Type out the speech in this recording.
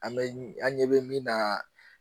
An bɛ an ɲɛ bɛ min na